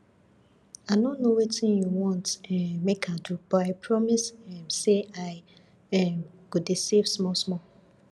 i no know wetin you want um make i do but i promise um say i um go dey save small small